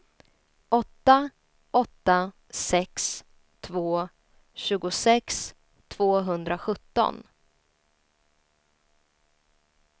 åtta åtta sex två tjugosex tvåhundrasjutton